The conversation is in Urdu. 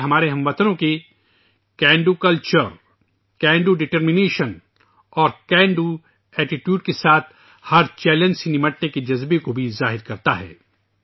یہ ہمارے ہم وطنوں کے "can do Culture"، "can do determination", "can do attitude" کے ساتھ ہر چیلنج سے نمٹنے کے جذبے کو بھی ظاہر کرتا ہے